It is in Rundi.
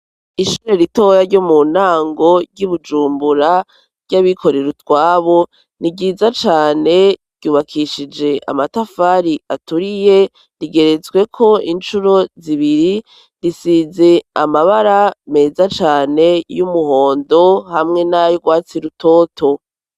Ishure ritoya ryo mu ntango ry'i bujumbura ry'abikorera utwabo ni byiza cane ryubakishije amatafari aturiye rigeretsweko insuro zibiri risize amabara meza cane y'umuhondo hamwe n'ay'urwatsi rutoto.